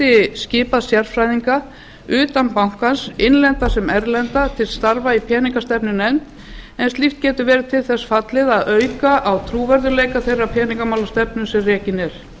geti skipað sérfræðinga utan bankans innlenda sem erlenda til starfa í peningastefnunefnd en slíkt getur verið til þess fallið að auka á trúverðugleika þeirrar peningamálastefnu sem rekin er